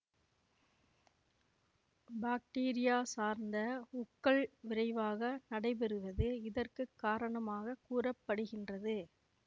bacteria சார்ந்த உக்கல் விரைவாக நடைபெறுவது இதற்கு காரணமாக கூற படுகின்றது